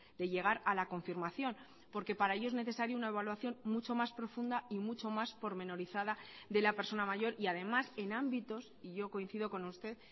de llegar a la confirmación porque para ello es necesario una evaluación mucho más profunda y mucho más pormenorizada de la persona mayor y además en ámbitos y yo coincido con usted